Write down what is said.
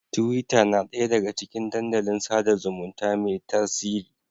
Tiwita na ɗaya daga cikin dandalin sada zumunta mai tasiri.